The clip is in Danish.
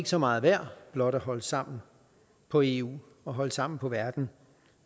så meget værd blot at holde sammen på eu og holde sammen på verden